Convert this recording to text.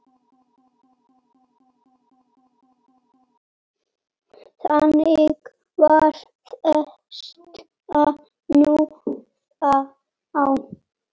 Þannig var þetta nú þá.